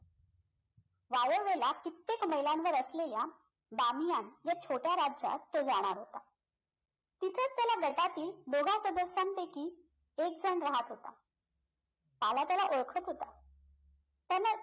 कित्येक मीलांवर असलेल्या बामियान या छोट्या राज्यात तो जाणार होता तिथेच त्याला गटातील दोघा सदस्यांपैकी एक जण राहत होता